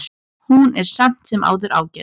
Hún er samt sem áður ágæt.